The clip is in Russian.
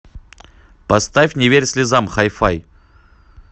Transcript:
поставь не верь слезам хай фай